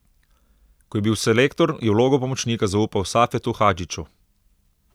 Ko je bil selektor, je vlogo pomočnika zaupal Safetu Hadžiću.